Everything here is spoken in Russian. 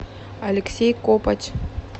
алексей копоть